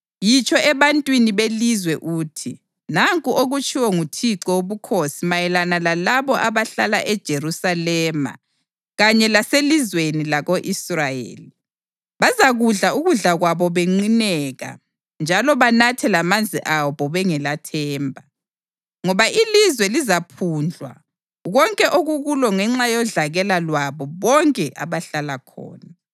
Yitsho ebantwini belizwe uthi: ‘Nanku okutshiwo nguThixo Wobukhosi mayelana lalabo abahlala eJerusalema kanye laselizweni lako-Israyeli: Bazakudla ukudla kwabo benqineka njalo banathe lamanzi abo bengelathemba, ngoba ilizwe lizaphundlwa konke okukulo ngenxa yodlakela lwabo bonke abahlala khona.